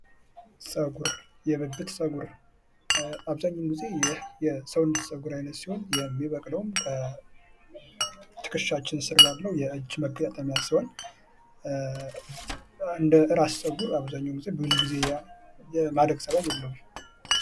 ፀጉር የብብት ፀጉር አብዛኛውን ግዜ ይህ የሰውነት ፀጉር ሲሆን የሚበቅለውም ከትከሻችን ስር ባለው የእጅ መገጣጠሚያ ሲሆን እንደራስ ፀጉር አብዛኛውን ጊዜ ብዙ ጊዜ የማደግ ፀባይ የለውም::